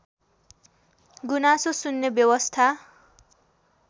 गुनासो सुन्ने व्यवस्था